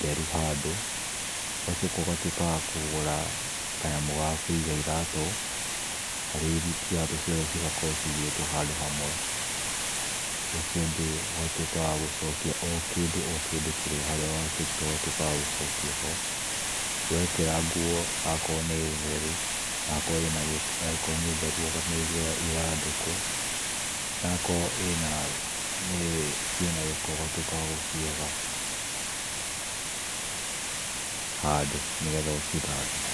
therũ handũ, ũgacoka ũgatuĩka wa kũiga kanyamũ ga kũiga iratũ, harĩa iratũ ciothe cigakorwo cigĩtwo handũ hamwe. Ũcio ũngĩ, ũgatũika wa gũcokia kĩndũ o harĩa wakĩrũta ũgatuĩka wa gũcokia ho. Wekĩra nguo, wakorwo nĩ theru ũkamĩigĩrira ithandũkũ, nakorwo ĩna, ciĩnagĩko ũgaciga handũ nĩgetha ũcithambie.